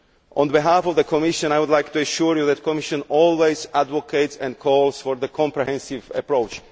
On behalf of the Commission, I would like to assure you that the Commission always advocates and calls for a comprehensive approach.